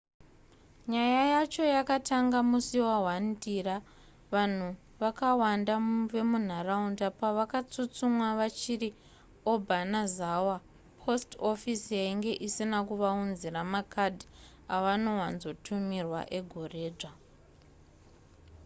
nyaya yacho yakatanga musi wa1 ndira vanhu vakawanda vemunharaunda pavakatsutsumwa vachiri obanazawa post office yainge isina kuvaunzira makadhi avanowanzotumirwa egoredzva